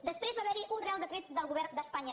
després va haver hi un reial decret del govern d’espanya